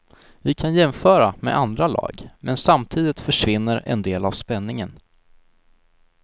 Vi kan jämföra med andra lag, men samtidigt försvinner en del av spänningen.